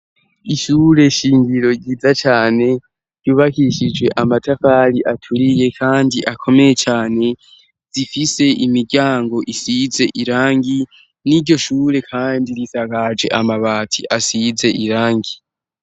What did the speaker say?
Ishure shingiro ryiza cane ryubakishije amatafari aturiye kandi akomeye cane, zifise imiryango isize irangi, n'iryo shure kandi risakaje amabati asize irangi.